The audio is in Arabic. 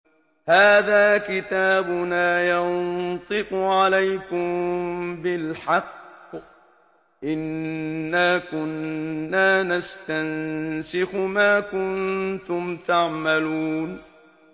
هَٰذَا كِتَابُنَا يَنطِقُ عَلَيْكُم بِالْحَقِّ ۚ إِنَّا كُنَّا نَسْتَنسِخُ مَا كُنتُمْ تَعْمَلُونَ